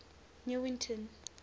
newington